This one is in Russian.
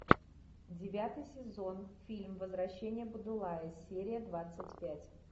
девятый сезон фильм возвращение будулая серия двадцать пять